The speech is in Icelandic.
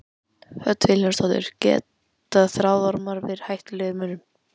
Hödd Vilhjálmsdóttir: Geta þráðormar verið hættulegir mönnum?